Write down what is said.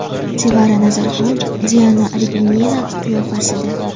Sevara Nazarxon Diana Arbenina qiyofasida.